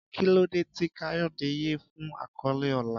Kí ló dé tí Kayode yẹ fún àkọlé ọlá?